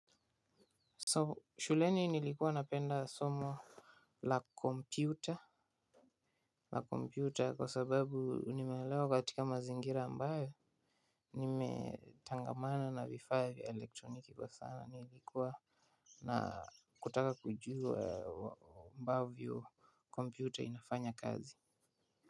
So shuleni nilikuwa napenda somo la kompyuta, la kompyuta kwa sababu nimelewa katika mazingira ambayo nimetangamana na vifaa vya elektroniki kwa sana. Nilikuwa na kutaka kujua ambavyo kompyuta inafanya kazi.